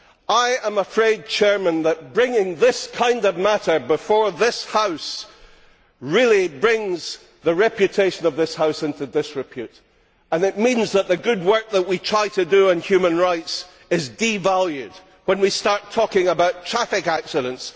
I am afraid that bringing this kind of matter before this House really brings the reputation of this House into disrepute and it means that the good work that we try to do in human rights is devalued, when we start talking about traffic accidents.